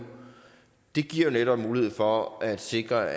giver jo netop mulighed for at sikre